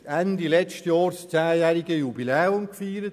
Ende letzten Jahres wurde das Zehnjahrjubiläum gefeiert;